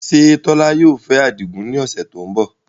Ṣé Tola yóò fẹ́ Adigun ní ọ̀sẹ̀ tó ń bọ̀?